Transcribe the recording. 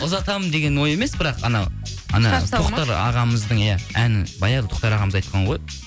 ұзатамын деген ой емес бірақ анау тоқтар ағамыздың иә әні баяғыда тоқтар ағамыз айтқан ғой